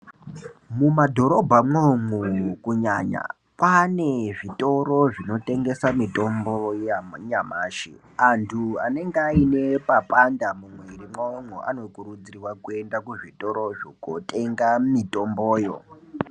Mumadhorobha mwoumo kunyanya kwaane zvitoro zvinotengeswa mitombo yanyamashi antu anenga aine papanda mumwiri mwawomo anokurudzirwa kuzvitorozvo kotenga mitomboyo .